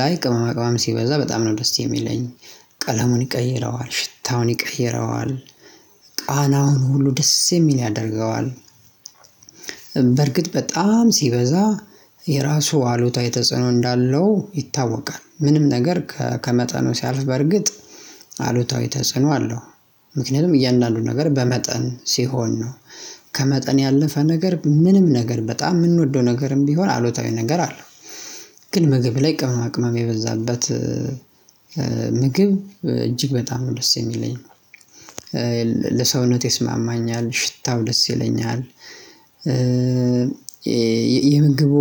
ላይ ቅመማ ቅመም ሲበዛ በጣም ነው ደስ የሚለኝ። ቀለሙን ይቀይረዋል ሽታውን ይቅይረዋል ቃናውን ሁሉ ደስ የሚል ያደርገዋል። በርግጥ በጣም ሲበዛ የራሱ አሉታዊ ተጽዕኖ እንዳለው ይታወቃል ምንም ነገር ከመጠኑ ሲያልፍ በርግጥ አሉታዊ ተጽዕኖ አለው። ምክንያቱም እያንዳንዱን ነገር በመጠን ሲሆን ነው። ከመጠን ያለፈ ነገር ምንም ነገር በጣም የምንወደው ነገርም ቢሆን አሉታዊ ነገር አለ። ግን ምግብ ላይ ቅመማ ቅመም የበዛበት ምግብ እጅግ በጣም ነው ደስ የሚለኝ ነው። ለሰውነት ይስማማኛል ሽታው ደስ ይለኛል። የምግቡ